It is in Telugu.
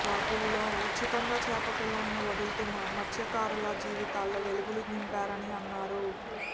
వాటిల్లో ఉచితంగా చేప పిల్లలను వదులుతూ మత్స్యకారుల జీవితాల్లో వెలుగులు నింపారని అన్నారు